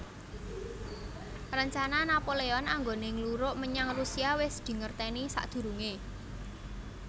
Rencana Napoleon anggoné ngluruk menyang Rusia wis dingertèni sakdurungé